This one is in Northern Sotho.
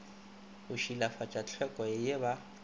go šilafatša tlhweko ye ba